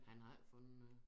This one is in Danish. Han har ikke fundet noget